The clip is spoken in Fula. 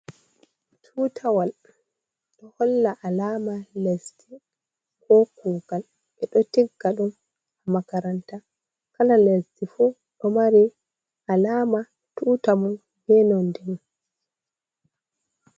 Tutawal do holla alama lesdi ko kugal. E do tigga dum ha makaranta, kala lesdi fu do mari alama tuta mo be nonde mon.